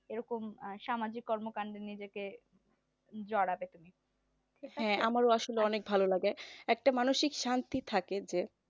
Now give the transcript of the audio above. এই রকম সামাজিক কর্মকান্ডে নিজেকে জড়াতে পারি